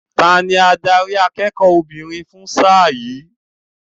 Tani adarí akẹ́kọ̀ọ́ obìnrin fún sáà yìí?